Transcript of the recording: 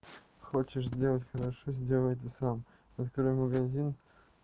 хочешь сделать хорошо сделай это сам открой магазин